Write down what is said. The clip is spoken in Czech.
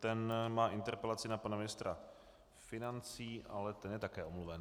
Ten má interpelaci na pana ministra financí, ale ten je také omluven.